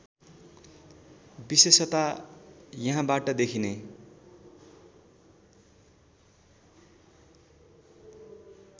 विशेषता यहाँबाट देखिने